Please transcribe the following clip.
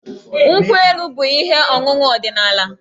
Nkwụ elu bụ ihe ọṅụṅụ ọdịnaala.